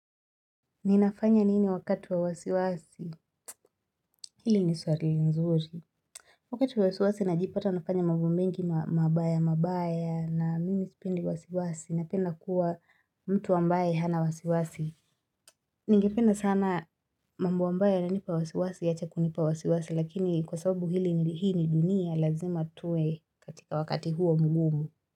Ninafanya nini wakati wa wasiwasi? Hili ni swali nzuri. Wakati wa wasiwasi najipata nafanya mambo mengi mabaya mabaya na mimi sipendi wasiwasi napenda kuwa mtu ambaye hana wasiwasi. Ningependa sana mambo ambayo yananipa wasiwasi yaache kunipa wasiwasi lakini kwa sababu hili ni dunia lazima tuwe katika wakati huo mgumu.